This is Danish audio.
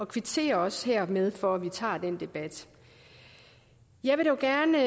kvitterer også hermed for at vi tager den debat jeg vil dog gerne